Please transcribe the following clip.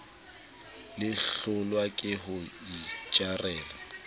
le hlolwa ke ho itjarela